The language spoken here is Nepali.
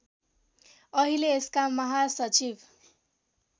अहिले यसका महासचिव